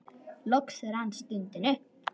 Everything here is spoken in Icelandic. Loks rann stundin upp.